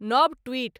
नव ट्वीट